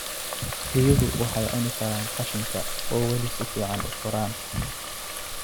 Riyuhu waxay cuni karaan qashinka oo weli si fiican u koraan.